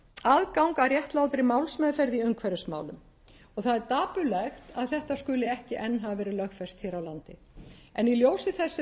aðgang að réttlátari málsmeðferð í umhverfismálum það er dapurlegt að þetta skuli ekki enn hafa verið lögfest hér á landi en í ljósi þess